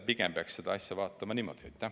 Pigem peaks seda asja niimoodi vaatama.